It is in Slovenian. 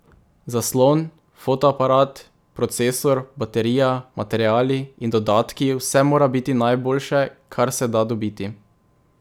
Zaslon, fotoaparat, procesor, baterija, materiali in dodatki, vse mora biti najboljše, kar se da dobiti.